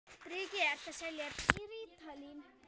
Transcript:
Breki: Ertu að selja rítalín?